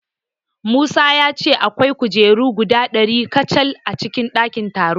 Musa ya ce akwai kujeru guda ɗari kacal a cikin ɗakin taron.